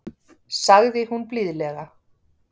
sagði hún blíðlega.